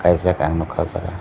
kaijak ang nogka o jaga.